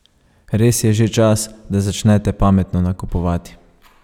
Res je že čas, da začnete pametno nakupovati.